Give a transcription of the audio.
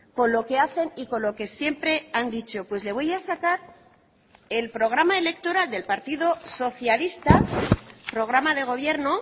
con lo que hacen y con lo que siempre han dicho pues le voy a sacar el programa electoral del partido socialista programa de gobierno